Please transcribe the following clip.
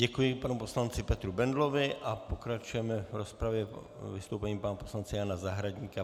Děkuji panu poslanci Petru Bendlovi a pokračujeme v rozpravě vystoupením pana poslance Jana Zahradníka.